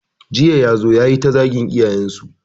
Jiya ya zo ya yi ta zagin iyayensu.